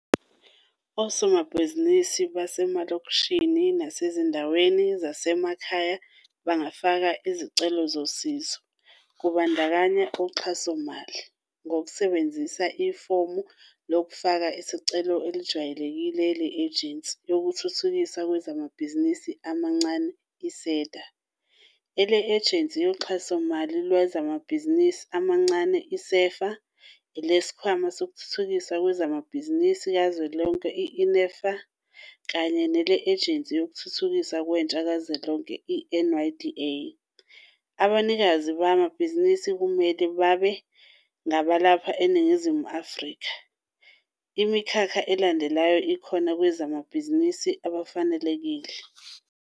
Osomabhizinisi basemalokishini nasezindaweni zasemakhaya bangafaka izicelo zosizo, kubandakanya uxhasomali, ngokusebenzisa ifomu lokufaka isicelo elejwayelekile le-Ejensi Yokuthuthukiswa Kwamabhizinisi Amancane, i-SEDA, ele-Ejensi Yoxhasomali Lwamabhizinisi Amancane, i-SEFA, eleSikhwama Sokuthuthukiswa Kwamabhizinisi Kuzwelonke, i-NEF, kanye nele-Ejensi Yokuthuthukiswa Kwentsha Kuzwelonke, i-NYDA. Abanikazi bamabhizinisi kumele babe ngabalapha eNingizimu Afrika. Imikhakha elandelayo ikhona kosomabhizinisi abafanelekile.